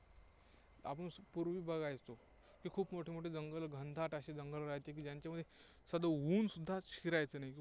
आपण पूर्वी बघायचो की, खूप मोठे मोठे जंगल घनदाट असे जंगल राहायचे की ज्यांच्यामध्ये साधं ऊन सुद्धा आत शिरायचं नाही.